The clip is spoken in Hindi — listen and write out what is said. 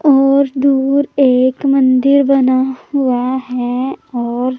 और दूर एक मंदिर बना हुआ है और--